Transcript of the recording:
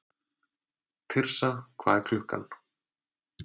Tirsa, hvað er klukkan?